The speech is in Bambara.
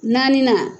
Naaninan